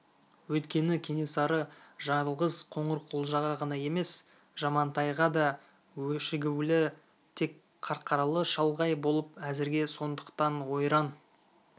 өйткені кенесары жалғыз қоңырқұлжаға ғана емес жамантайға да өшігулі тек қарқаралы шалғай болып әзірге сондықтан ойран